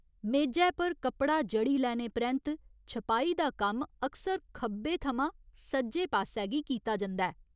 मेजै पर कपड़ा जड़ी लैने परैंत्त छपाई दा कम्म अक्सर खब्बे थमां सज्जे पास्सै गी कीता जंदा ऐ।